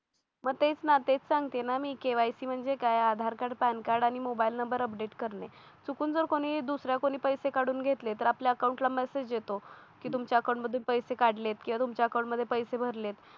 मग तेच ना तेच सांगते ना मी KYC म्हणजे काय आधार कार्ड पॅन कार्ड आणि मोबाईल नंबर अपडेट करणे चुकून जर कोणी दुसऱ्या कोणी पैसे काढून घेतले तर आपल्या अकाउंटला मेसेज येतो की तुमच्या अकाउंट मधून पैसे काढलेत किंवा तुमच्याकडे मध्ये पैसे भरलेत.